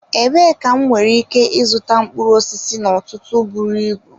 Ebee ka m nwere ike ịzụta mkpụrụ osisi n'ọtụtụ buru ibu?